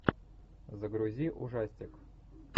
загрузи ужастик